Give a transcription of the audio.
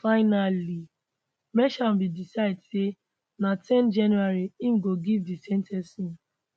finally merchan bin decide say na ten january im go give di sen ten cing